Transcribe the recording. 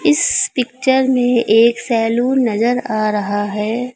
इस पिक्चर में एक सैलून नजर आ रहा है।